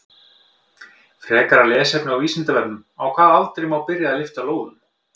Frekara lesefni á Vísindavefnum: Á hvaða aldri má byrja að lyfta lóðum?